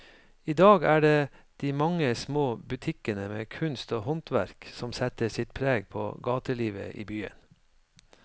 I dag er det de mange små butikkene med kunst og håndverk som setter sitt preg på gatelivet i byen.